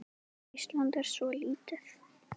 Ísland er svo lítið!